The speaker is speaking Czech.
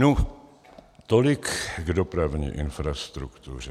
Nu, tolik k dopravní infrastruktuře.